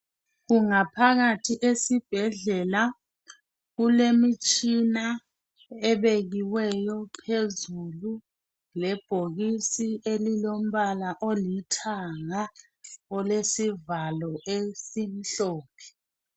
Kungaphakathi esibhedlela, kulemitshina ebekiweyo phezulu lebhokisi elilombala olithanga olesivalo esimhlophe.